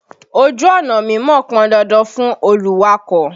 Ojú ọ̀nà mímọ̀ pọn dandan fún olùwakọ̀.